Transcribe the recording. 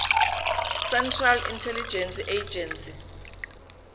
central intelligence agency